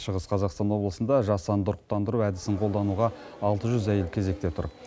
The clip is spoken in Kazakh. шығыс қазақстан облысында жасанды ұрықтандыру әдісін қолдануға алты жүз әйел кезекте тұр